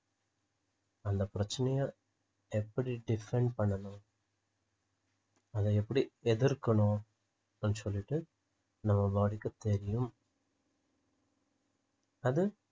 அந்த பிரச்சனைய எப்படி define பண்ணணும் அதை எப்படி எதிர்க்கணும் அப்படின்னு சொல்லிட்டு நம்ம body க்கு தெரியும் அது